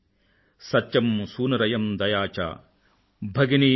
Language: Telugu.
ధైర్యం యస్య పితా క్షమా చ జననీ శాంతిశ్చిరం గేహినీ